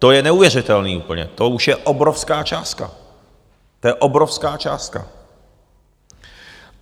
To je neuvěřitelné úplně, to už je obrovská částka, to je obrovská částka.